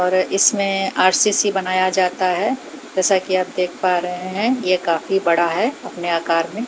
इसमें आर_सी_सी बनाया जाता है जैसा कि आप देख पा रहे हैं ये काफी बड़ा है अपने आकार में।